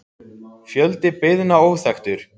Fjöldi beiðna óþekktur